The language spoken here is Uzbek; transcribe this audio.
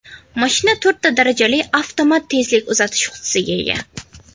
Mashina to‘rtta darajali avtomat tezlik uzatish qutisiga ega.